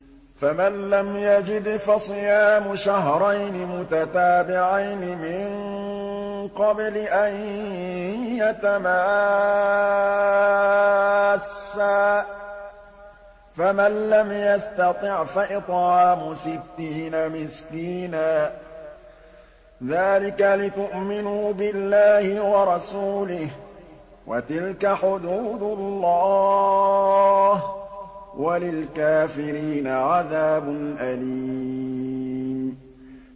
فَمَن لَّمْ يَجِدْ فَصِيَامُ شَهْرَيْنِ مُتَتَابِعَيْنِ مِن قَبْلِ أَن يَتَمَاسَّا ۖ فَمَن لَّمْ يَسْتَطِعْ فَإِطْعَامُ سِتِّينَ مِسْكِينًا ۚ ذَٰلِكَ لِتُؤْمِنُوا بِاللَّهِ وَرَسُولِهِ ۚ وَتِلْكَ حُدُودُ اللَّهِ ۗ وَلِلْكَافِرِينَ عَذَابٌ أَلِيمٌ